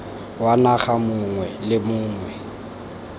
wa naga mongwe le mongwe